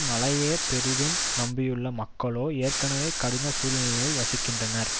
மழையையே பெரிதும் நம்பியுள்ளன மக்களோ ஏற்கனவே கடின சூழ்நிலையில் வசிக்கின்றனர்